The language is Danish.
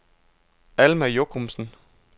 Alma Jochumsen